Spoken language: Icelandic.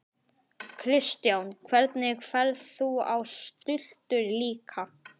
Kristján: Hvernig er, ferð þú á stultur líka?